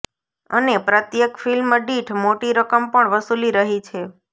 અને પ્રત્યેક ફિલ્મ દીઠ મોટી રકમ પણ વસૂલી રહી છે